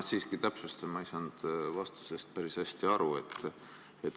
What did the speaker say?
Ma siiski täpsustan, sest ma ei saanud vastusest päris hästi aru.